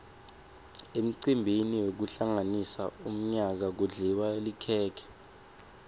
emcimbini wekuhlanganisa umyaka kudliwa likhekhe